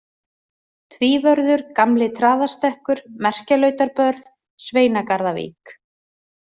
Tvívörður, Gamli-Traðarstekkur, Merkjalautarbörð, Sveinagarðavík